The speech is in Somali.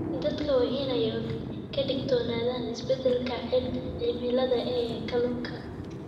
Dadku waa inay ka digtoonaadaan isbeddelka cimilada ee kalluunka.